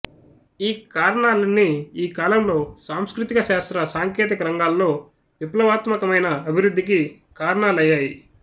ఈ కారణాలన్నీ ఈ కాలంలో సాంస్కృతిక శాస్త్ర సాంకేతిక రంగాల్లో విప్లవాత్మకమైన అభివృద్ధికి కారణాలయ్యాయి